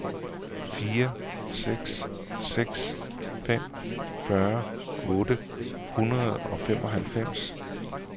fire seks seks fem fyrre otte hundrede og femoghalvfems